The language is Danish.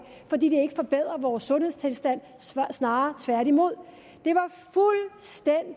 fordi det ikke forbedrer vores sundhedstilstand snarere tværtimod